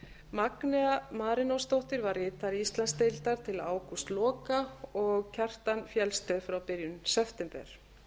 magnea marinósdóttir var ritari íslandsdeildar til ágústloka og kjartan fjeldsted frá byrjun september